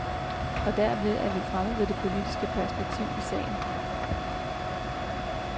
Og derved er vi fremme ved det politiske perspektiv i sagen.